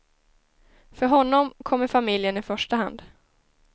För honom kommer familjen i första hand.